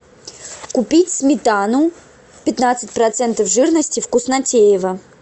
купить сметану пятнадцать процентов жирности вкуснотеево